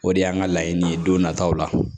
O de y'an ka laɲini ye don nataw la